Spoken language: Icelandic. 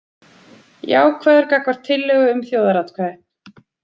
Jákvæður gagnvart tillögu um þjóðaratkvæði